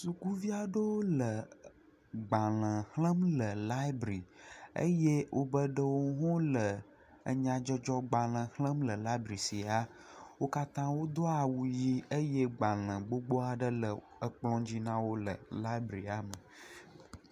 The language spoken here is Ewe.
Sukuvi aɖewo le gbalẽ xlẽm le laɛbri eye wobe ɖewo le nyadzɔdzɔgbalẽ xlẽm le sia. Wo katã wodo awu yiii eye gbalẽ gbogbo aɖe le kplɔ̃dzi na wo le laɛbia me.